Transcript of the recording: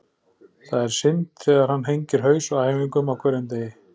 Það er synd þegar hann hengir haus á æfingum á hverjum degi.